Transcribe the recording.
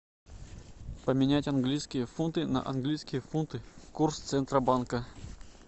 поменять английские фунты на английские фунты курс центробанка